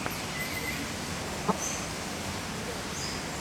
запусти фильмас жанр ситком